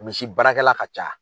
Misi baarakɛla ka ca